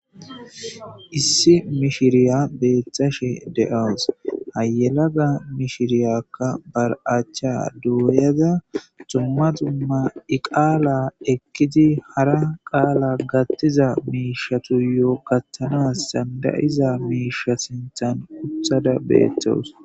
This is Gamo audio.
Issi mishshiriya betashshe deasu ha yelaga mishiriyakka acchcha doyadakka dumma dumma Ii qaala ekidi hara qaala vaththiza mishshatuyo gaththanasi danidaiza mishsha sinththani woththada betawusi